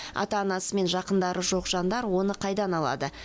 ата анасы мен жақындары жоқ жандар оны қайдан алады